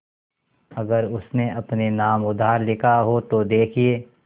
अगर उसने अपने नाम उधार लिखा हो तो देखिए